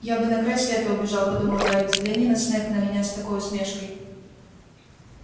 я бы на край света убежал подумал гарри взгляни снегг на меня с такой усмешкой